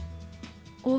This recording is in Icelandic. og